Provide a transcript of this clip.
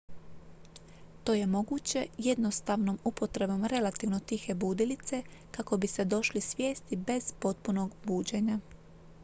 to je moguće jednostavnom upotrebom relativno tihe budilice kako biste došli svijesti bez potpunog buđenja